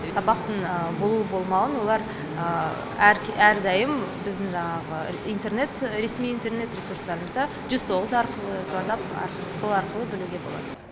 сабақтың болу болмауын олар әрдайым біздің жанағы интернет ресми интернет ресурстарымыздан жүз тоғыз арқылы звондап сол арқылы білуге болады